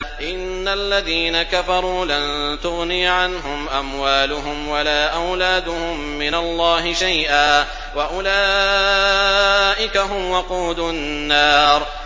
إِنَّ الَّذِينَ كَفَرُوا لَن تُغْنِيَ عَنْهُمْ أَمْوَالُهُمْ وَلَا أَوْلَادُهُم مِّنَ اللَّهِ شَيْئًا ۖ وَأُولَٰئِكَ هُمْ وَقُودُ النَّارِ